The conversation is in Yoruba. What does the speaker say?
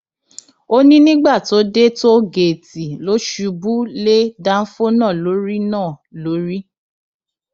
ó ní nígbà tó dé tóògéètì ló ṣubú lé dánfọ náà lórí náà lórí